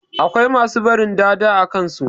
Akwai masu barin "dada" a kansu.